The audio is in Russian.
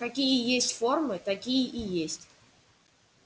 какие есть формы такие и есть